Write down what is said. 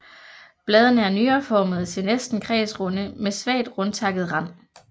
Bladene er nyreformede til næsten kredsrunde med svagt rundtakket rand